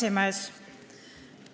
Hea aseesimees!